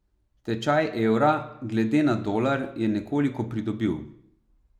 Tečaj evra glede na dolar je nekoliko pridobil.